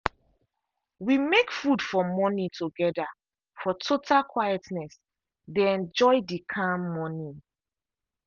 we make food for morning together for total quietness dey enjoy the calm morning.